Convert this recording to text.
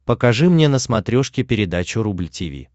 покажи мне на смотрешке передачу рубль ти ви